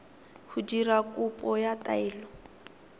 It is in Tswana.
go dira kopo ya taelo